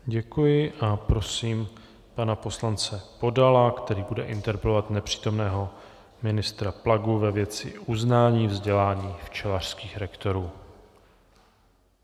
Děkuji a prosím pana poslance Podala, který bude interpelovat nepřítomného ministra Plagu ve věci uznání vzdělání včelařských lektorů.